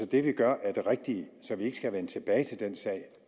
det vi gør er det rigtige så vi ikke skal vende tilbage til den sag